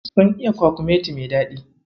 Sun iya kwakumeti mai daɗi.